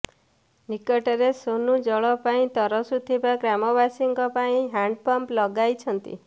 ନିକଟରେ ସୋନୁ ଜଳ ପାଇଁ ତରସୁଥିବା ଗ୍ରାମବାସୀଙ୍କ ପାଇଁ ହ୍ୟାଣ୍ଡପମ୍ପ ଲଗାଇଛନ୍ତି